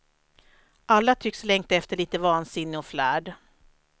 Alla tycks längta efter lite vansinne och flärd.